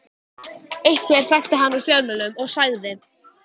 Einhver þekkti hann úr fjölmiðlum og sagði